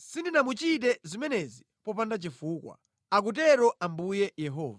sindinamuchite zimenezi popanda chifukwa, akutero Ambuye Yehova.”